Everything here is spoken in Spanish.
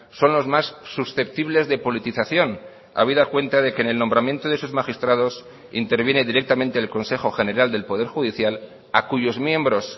son los más susceptibles de politización habida cuenta de que en el nombramiento de sus magistrados interviene directamente el consejo general del poder judicial a cuyos miembros